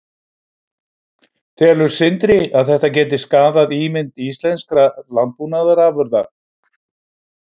Telur Sindri að þetta geti skaðað ímynd íslenskra landbúnaðarafurða?